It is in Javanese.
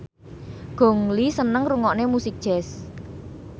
Gong Li seneng ngrungokne musik jazz